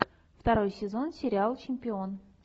второй сезон сериал чемпион